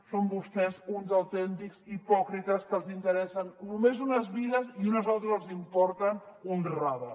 són vostès uns autèntics hipòcrites que els interessen només unes vides i unes altres els importen un rave